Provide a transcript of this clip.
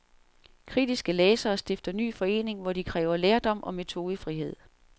Kritiske lærere stifter ny forening, hvor de kræver lærdom og metodefrihed.